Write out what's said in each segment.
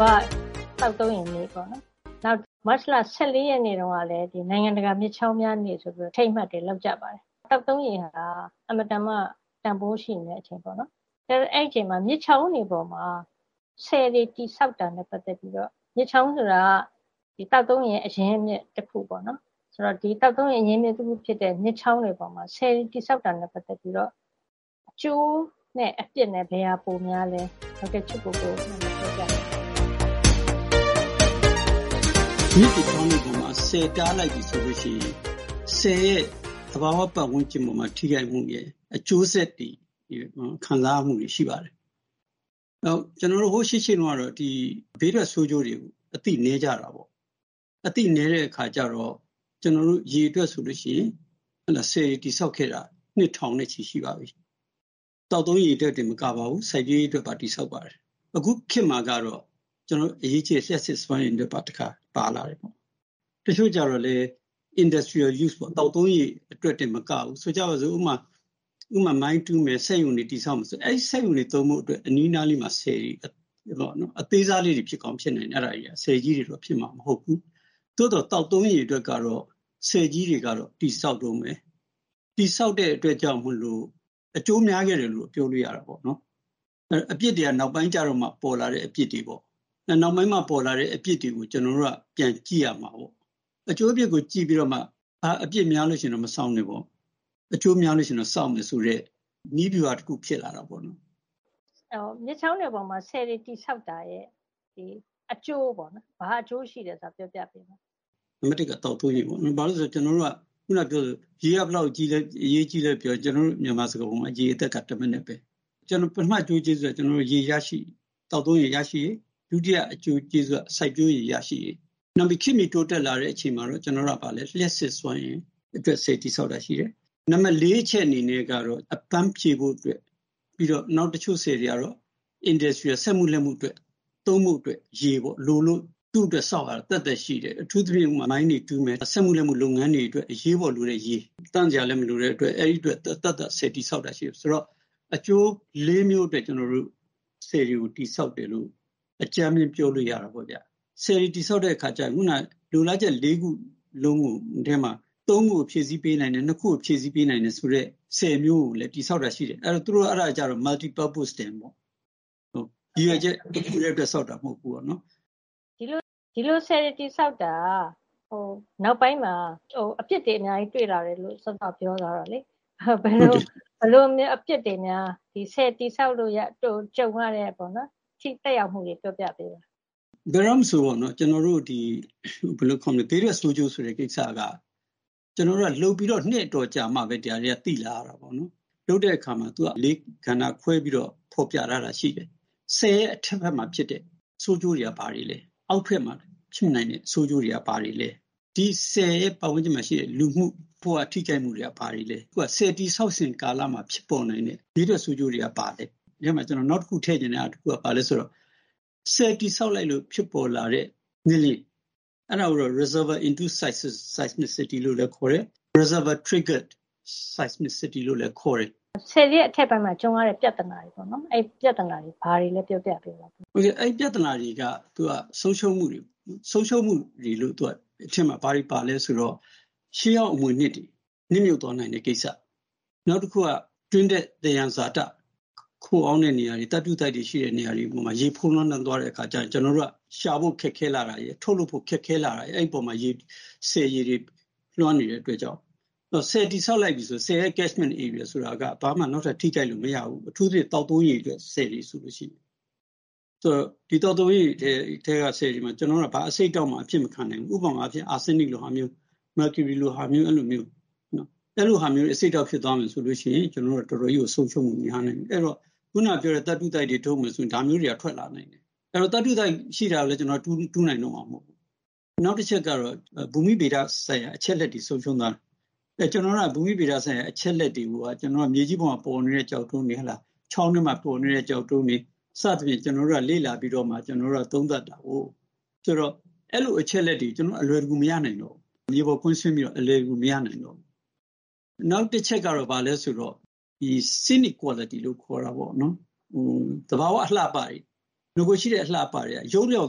ဘာ့သောက်သုံးရေနေ့” ပေါ့နော်၊ မတ်လ ၁၄ ရက်နေ့တုန်းကလည်း “နိုင်ငံတကာမြစ်ချောင်းများနေ့” ဆိုပြီးတော့ အထိမ်းအမှတ်တွေ လုပ်ကြပါတယ်။ သောက်သုံးရေဟာ အင်မတန်မှ တန်ဖိုးရှိနေတဲ့အချိန်ပေါ့နော်။ အကယ်၍ အဲဒီအချိန်မှာ မြစ်ချောင်းတွေပေါ်မှာ ဆည်တွေတည်ဆောက်တာနဲ့ပတ်သက်ပြီးတော့ - မြစ်ချောင်းဆိုတာက သောက်သုံးရေအရင်းအမြစ်တခုပေါ့နော်၊...ဆိုတော့ ဒီသောက်သုံးရေအရင်းအမြစ်ဖြစ်တဲ့ မြစ်ချောင်းတွေပေါ်မှာ ဆည်တည်ဆောက်တာနဲ့ပတ်သက်ပြီးတော့ အကျိုးနဲ့အပြစ်ဘယ်ဟာပိုများသလဲ၊ ဒေါက်တာချစ်ကိုကို ပြောပြပေးပါရှင့်။ ဒေါက်တာချစ်ကိုကို။ ။ မြစ်တွေချောင်းတွေပေါ်မှာ ဆည်တားလိုက်ပြီဆိုလို့ရှိရင် သဘာဝပတ်ဝန်းကျင်အပေါ်မှာ ဆည်ကြောင့်ထိခိုက်မှုရဲ့ အကျိုးဆက်တွေ၊ ခံစားရမှုတွေ ရှိပါတယ်။ နောက်... ကျနော်တို့ ဟိုး ရှေ့ရှေးတုန်းကတော့ ဘေးထွက်ဆိုးကျိုးတွေ အသိနည်းကြတာပေါ့။ အသိနည်းတဲ့အခါကျတော့ ရေအတွက်ဆိုလို့ရှိရင် ဆည်တွေတည်ဆောက်ခဲ့တာ နှစ်ထောင်နဲ့ချီရှိပါပြီ။ သောက်သုံးရေအတွက်တင်မကပါဘူး။ စိုက်ပျိုးရေးအတွက်ပါ တည်ဆောက်ပါတယ်။ အခုခေတ်မှာကျတော့ အရေးကြီးတဲ့ လျှပ်စစ်စွမ်းအင်အတွက်ပါ တခါ ပါလာတယ်။ တချို့ကျတော့လည်း industrial use ပေါ့၊ သောက်သုံးရေအတွက်တင်မကဘူး၊ ဥပမာ ဆိုကြပါစို့၊ မိုင်းတူးမယ်၊ စက်ရုံတွေတည်ဆောက်မယ်ဆိုရင် အဲဒီစက်ရုံတွေသုံးဖို့အတွက် အနီးအနားလေးကို ဆည်တွေဆောက်တယ်။ အသေးစားလေးတွေ ဖြစ်ကောင်းဖြစ်နိုင်တယ်၊ အဲဒါတွေက။ ဆည်ကြီးတွေတော့ ဖြစ်မှာမဟုတ်ဘူး။ သို့သော် သောက်သုံးရေအတွက်ကတော့ ဆည်ကြီးတွေက တည်ဆောက်တုန်းပဲ။ တည်ဆောက်တဲ့အတွက်ကြောင့်မို့လို့ အကျိုးအများကြီးရတယ်လို့တော့ ပြောလို့ရတာပေါ့နော်။ အပြစ်တွေက နောက်ပိုင်းကျတော့မှ ပေါ်လာတဲ့အပြစ်တွေပေါ့။ နောက်ပိုင်းမှပေါ်လာတဲ့အပြစ်တွေကို ကျနော်တို့က ပြန်ကြည့်ရမှာကိုး။ အကျိုးအပြစ်ကိုကြည့်ပြီးတော့မှ အပြစ်များလို့ရှိရင်တော့ မဆောက်နဲ့ပေါ့။ အကျိုးများလို့ရှိရင်တော့ ဆောက်မယ်ဆိုတဲ့ နည်းဗျူဟာတခုဖြစ်လာတာပေါ့လေ။ ဒေါ်ခင်မျိုးသက်။ ။ မြစ်ချောင်းတွေပေါ်မှာ ဆည်တွေတည်ဆောက်တာရဲ့ အကျိုးပေါ့နော်၊ ဘာအကျိုးရှိလဲဆိုတာ ပြောပြပေးပါ။ ဒေါက်တာချစ်ကိုကို။ ။ နံပါတ် က သောက်သုံးရေပေါ့နော်။ ဘာပဲပြောပြော ကျနော်တို့က အခုနကပြောသလို ရေက ဘယ်လောက်အရေးကြီးသလဲပြောရင် ကျနော်တို့ မြန်မာစကားပုံက “ရေအသက်က တမနက်ပဲ။” ပထမအကျိုးကျေးဇူးက ရေရရှိရေး။ သောက်သုံးရေရရှိရေး။ ဒုတိယအကျိုးကျေးဇူးက စိုက်ပျိုးရေရရှိရေး။ နောက်ပြီး ခေတ်မီတိုးတက်လာတဲ့အချိန်မှာတော့ ကျနော်တို့က လျှပ်စစ်စွမ်းရည်အတွက် ဆည်တည်ဆောက်တာရှိမယ်။ နံပါတ် အချက်အနေနဲ့ကတော့ အပမ်းဖြေဖို့အတွက်။ နောက်တချို့ဆည်တွေကတော့ Industrial - စက်မှုလက်မှုအတွက် သုံးဖို့အတွက်ရေလိုလို့ သူ့အတွက်ဆောက်ရတာ သက်သက်ရှိတယ်။ အထူးသဖြင့် မိုင်းတွေတူးမယ်။ အထူးသဖြင့် စက်မှုလက်မှုလုပ်ငန်းတွေအတွက် အရေးပေါ်လိုတဲ့ရေ။ သန့်စရာလည်းမလိုတဲ့အတွက် အဲဒီအတွက် သပ်သပ်ဆည်တည်ဆောက်တာရှိတယ်။...ဆိုတော့ အကျိုးလေးမျိုးအတွက် ဆည်တွေကိုတည်ဆောက်တယ်လို့ အကြမ်းဖျင်း ပြောလို့ရတာပေါ့ဗျ။ ဆည်တွေတည်ဆောက်တဲ့အခါကျ အခုနက လိုလားချက်လေးခုလုံးထဲမှာ သုံးခုကို ဖြည့်ဆည်းပေးနိုင်တယ်၊ နှစ်ခုကိုဖြည့်ဆည်းပေးနိုင်တယ်ဆိုတဲ့ ဆည်မျိုးကိုလည်း တည်ဆောက်တာရှိတယ်။ အဲဒါကျတော့ Multi purpose dam ပေါ့။ ရည်ရွယ်ချက်တခုတည်းအတွက် ဆောက်တာမဟုတ်ဘူးပေါ့နော်။ ဒေါ်ခင်မျိုးသက်။ ။ ဒီလိုဆည်တွေတည်ဆောက်တာဟာ နောက်ပိုင်းမှာ အပြစ်တွေအများကြီးတွေ့လာတယ်လို့ စောစောက ပြောသွားတာလေ။ ဆည်တည်ဆောက်လို့ကြုံရတဲ့ထိခိုက်ရမှုတွေ ပြောပြပေးပါ။ ဒေါက်တာချစ်ကိုကို။ ။ ဘယ်တော့မဆို ဘေးထွက်ဆိုးကျိုးဆိုတဲ့ကိစ္စက လုပ်ပြီးတော့ နှစ်အတော်ကြာမှပဲ ဒါတွေသိလာရတာပေါ့နော်။ လုပ်တဲ့အခါမှာ လေးကဏ္ဍခွဲပြီးတော့ ဖော်ပြထားတာရှိတယ်။ ဆည်ရဲ့အထက်ဘက်မှာဖြစ်တဲ့ ဆိုးကျိုးတွေက ဘာတွေလဲ။ အောက်ဘက်မှာဖြစ်နိုင်တဲ့ဆိုးကျိုးတွေက ဘာတွေလဲ။ ဒီဆည်ရဲ့ပတ်ဝန်းကျင်မှာရှိတဲ့ လူမှုဘဝ ထိခိုက်မှုတွေက ဘာတွေလဲ။ အခုဟာက ဆည်တည်ဆောက်စဉ်ကာလမှာ ဖြစ်ပေါ်နိုင်တဲ့ဘေးထွက်ဆိုးကျိုးတွေက ဘာတွေလဲ။ နောက်တခု ထည့်ချင်တာတခုက ဘာလဲဆိုတော့ ဆည်တည်ဆောက်လိုက်လို့ ဖြစ်ပေါ်လာတဲ့ ငလျင်၊ အဲဒါကိုတော့ reservior induced seismicity - လို့လည်းခေါ်တယ်။ reservior triggered seismicity လို့လည်း ခေါ်တယ်။ ဒေါ်ခင်မျိုးသက်။ ။ ဆည်ရဲ့အထက်ပိုင်းမှာ ကြုံရတဲ့ပြဿနာတွေပေါ့နော်။ အဲဒီပြဿနာတွေက ဘာတွေလဲ ပြောပြပေးပါ။ ဒေါက်တာချစ်ကိုကို။ ။ ပြဿနာတွေက သူက ဆုံးရှုံးမှုတွေပေါ့။ ဆုံးရှုံးမှုတွေထဲမှာ ဘာတွေပါလဲဆိုတော့ ရှေးဟောင်းအမွေအနှစ်တွေနစ်မြုပ်သွားနိုင်တဲ့ကိစ္စ။ နောက်တခုက တွင်းထွက်သယံဇာတခိုအောင်းတဲ့နေရာတွေ၊ သတ္တုသိုက်တွေရှိတဲ့နေရာတွေပေါ်မှာ ဖုံးလွှမ်းသွားတဲ့အခါကျလို့ရှိရင် ကျနော်တို့က ရှာဖို့ခက်ခဲလာတာရယ်၊ ထုတ်လုပ်ဖို့ခက်ခဲလာတာရယ်၊ အဲဒီအပေါ်မှာ ဆည်ရေတွေလွှမ်းနေတဲ့အတွက်ကြောင့်။ ဆည်တည်ဆောက်လိုက်ပြီဆိုရင် ဆည်ရဲ့ catchment area တွေက ဘာမှ နောက်ထပ်ထိခိုက်လို့မရဘူး။ အထူးသဖြင့် သောက်သုံးရေအတွက်ဆည်တွေဆိုလို့ရှိရင်။ ဒီသောက်သုံးရေအတွက်ဆည်တွေမှာ ကျနော်တို့က ဘာအဆိပ်အတောက်မှ အဖြစ်မခံနိုင်ဘူး။ ဥပမာ အာဆင်းနစ်လိုဟာမျိုး။ မာကျူရီလိုဟာမျိုး-အဲလိုမျိုး။ အဲလိုဟာမျိုးတွေနဲ့ အဆိပ်အတောက်ဖြစ်သွားပြီဆိုလို့ရှိရင် ကျနော်တို့က တော်တော်ကြီးကို ဆုံးရှုံးမှုများနိုင်တယ်။ အဲဒီတော့ အခုနကပြောတဲ့ သတ္တုသိုက်တွေထုတ်မယ်ဆိုရင် ဒါမျိုးတွေကထွက်လာမယ်။ အဲဒီတော့ သတ္တုသိုက်ရှိလာပြီဆိုရင် တူးနိုင်တော့မှာမဟုတ်ဘူး။...နောက်တချက်ကတော့ ဘူမိဗေဒဆိုင်ရာ အချက်အလက်တွေ ဆုံးရှုံးသွားမယ်။ ဘူမိဗေဒဆိုင်ရာအချက်အလက်တွေကိုက ကျနော်တို့က မြေကြီးပေါ်မှာပေါ်နေတဲ့ကျောက်တုံးတွေ၊ ချောင်းထဲမှာပေါ်နေတဲ့ကျောက်တုံးတွေ။ စသဖြင့် လေ့လာပြီးတော့မှ ကျနော်တို့ကသုံးသပ်တာကိုး။ ဆိုတော့ အဲဒီလို အချက်အလက်တွေကို ကျနော်တို့က အလွယ်တကူမရနိုင်တော့ဘူး။ မြေပေါ်ကွင်းဆင်းပြီးတော့ အလွယ်တကူမရနိုင်တော့ဘူး။....နောက်တချက်ကတော့ ဘာလဲဆိုတော့ scenic quality လို့ခေါ်တာပေါ့လေ။ သဘာဝအလှအပတွေ။ နဂိုကရှိတဲ့အလှအပတွေ ယုတ်လျော့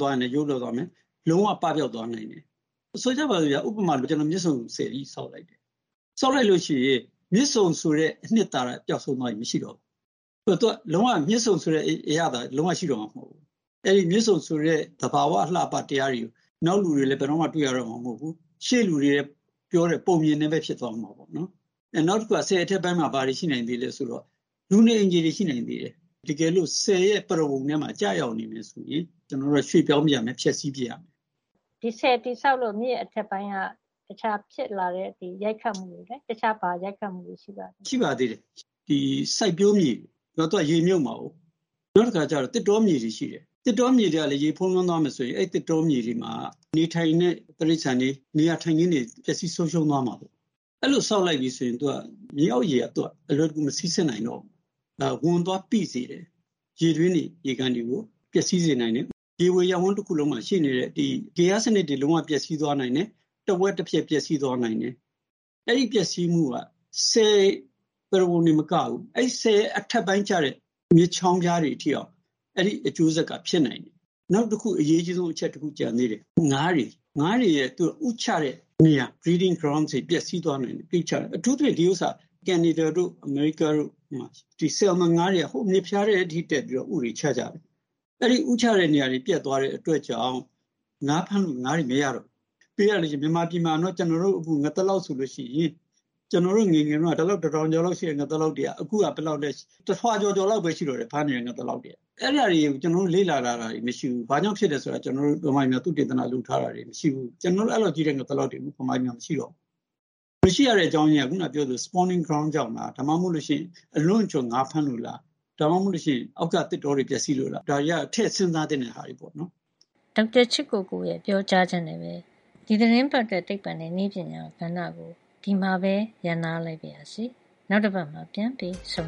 သွားရင်လည်း ယုတ်လျော့သွားမယ်။ လုံးဝပပျောက်သွားနိုင်တယ်။ ဆိုကြပါစို့ဗျာ။ ဥပမာ မြစ်ဆုံဆည်ကြီး ဆောက်လိုက်တယ်။ ဆောက်လိုက်လို့ရှိရင် မြစ်ဆုံဆိုတဲ့ အနှစ်သာရပျောက်ဆုံးသွားပြီ။ မရှိတော့ဘူး။ မြစ်ဆုံဆိုတဲ့အရသာ လုံးဝရှိတော့မှာမဟုတ်ဘူး။ အဲဒီ မြစ်ဆုံဆိုတဲ့ သဘာဝအလှအပတရားတွေ နောက်လူတွေလည်း ဘယ်တော့မှတွေ့ရတော့မှာ မဟုတ်ဘူး။ ရှေ့လူတွေပြောတဲ့ ပုံပြင်တွေပဲ ဖြစ်သွားမှာပေါ့နော်။........နောက်တခုက ဆည်အထက်ပိုင်းမှာ ဘာတွေရှိနိုင်သေးလဲဆိုရင် လူနေအိမ်ခြေတွေရှိနိုင်သေးတယ်။ တကယ်လို့ဆည်ရဲ့ပရဝုဏ်ထဲမှာ ကျရောက်နေပြီဆိုရင် ကျနော်တို့က ရွှေ့ပြောင်းပစ်ရမယ်၊ ဖျက်ဆီးပစ်ရမယ်။ ဒေါ်ခင်မျိုးသက်။ ။ ဒီဆည်တည်ဆောက်လို့ မြစ်အထက်ပိုင်းက တခြားဖြစ်လာတဲ့ရိုက်ခတ်မှုတွေ၊ တခြား ဘာရိုက်ခတ်မှုတွေရှိပါသေးလဲ။ ဒေါက်တာချစ်ကိုကို။ ။ ရှိပါသေးတယ်။ စိုက်ပျိုးမြေတွေ။ သူက ရေမြုပ်မှာကို။ နောက်တခါကျတော့ သစ်တောမြေတွေရှိတယ်။ သစ်တောမြေတွေကလည်း ရေဖုံးလွှမ်းသွားမယ်ဆိုရင် အဲဒီသစ်တောမြေတွေမှာနေထိုင်တဲ့ တိရစ္ဆာန်တွေ နေရာထိုင်ခင်းတွေ ပျက်စီးဆုံးရှုံးသွားမှာပေါ့။ အဲဒီလို ဆောက်လိုက်ပြီဆိုရင် မြေအောက်ရေက အလွယ်တကူ မစီးဆင်းနိုင်တော့ဘူး။ နောက် ဝန်သွားပိစေတယ်။ ရေတွင်းတွေ၊ ရေကန်တွေကို ပျက်စီးစေနိုင်တယ်။ ရေဝေရပ်ဝန်းတခုလုံးမှာရှိနေတဲ့ ဂေဟစနစ်တွေ လုံးဝပျက်စီးသွားနိုင်တယ်။ တဝက်တပြက် ပျက်စီးသွားနိုင်တယ်။ အဲဒီပျက်စီးမှုက ဆည်ပရဝုဏ်တင်မကဘူး။ အဲဒီဆည်ရဲ့အထက်ပိုင်းကျတဲ့မြစ်ချောင်းဖျားတွေထိအောင် အဲဒီအကျိုးဆက်က ဖြစ်နိုင်တယ်။....နောက်တခု အရေးအကြီးဆုံးအချက် ကျန်သေးတယ်။ “ငါးတွေ။” ငါးတွေ ဥချတဲ့နေရာ။ breeding grounds တွေ ပျက်စီးသွားနိုင်တယ်။ အထူးသဖြင့် ဒီဥစ္စာ ကနေဒါ တို့၊အမေရိကားတို့မှာ ဆယ်လ်မွန်ငါးတွေက ဟိုးမြစ်ဖျားထဲအထိတက်ပြီးတော့ ဥတွေချကြတာ။ အဲဒီဥချတဲ့နေရာတွေပျက်သွားတဲ့အတွက်ကြောင့် ငါးဖမ်းလို့ငါးတွေမရတော့ဘူး။.ပြောရလို့ရှိရင် ကျနော်တို့ အခု ငသလောက်ဆိုလို့ရှိရင် ကျနော်တို့ငယ်ငယ်တုန်းက တတောင်ကျော်လောက်ရှိတဲ့ငသလောက်တွေက အခုဆိုလို့ရှိရင် တထွာကျော်ကျော်လောက်ပဲရှိတော့တယ်။ ဖမ်းမိတဲ့ငသလောက်တွေက။ အဲဒါတွေက ကျနော်တို့ လေ့လာထားတာတွေမရှိဘူး။ ဘာကြောင့်ဖြစ်တယ်ဆိုတာ ဗမာပြည်မှာ သုတေသနလုပ်ထားတာတွေ မရှိဘူး။ အဲလောက်ကြီးလည်း ကျနော်တို့ဗမာပြည်မှာ ငသလောက်တွေမရှိတော့ဘူး။ မရှိရတဲ့အကြောင်းရင်းက အခုနကပြောသလို ဥတွေ ဥချတဲ့ နေရာ ကြောင့်လား၊ ဒါမှမဟုတ်လို့ရှိရင် အလွန့်အကျွံငါးဖမ်းလို့လား။ ဒါမှမဟုတ်လို့ရှိရင် အောက်က သစ်တောတွေပျက်စီးလို့လား။ ဒါတွေက ထည့်စဉ်းစားသင့်တဲ့ဟာတွေပေါ့နော်။ ဒေါက်တာချစ်ကိုကိုရဲ့ပြောကြားချက်နဲ့ပဲ ဒီသီတင်းပတ်အတွက် သိပ္ပံနဲ့နည်းပညာကဏ္ဍကို ဒီမှာပဲ ရပ်နားလိုက်ပါရစေ။ နောက်တပတ်မှာ ပြန်ပြီး ဆုံ